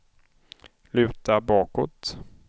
luta bakåt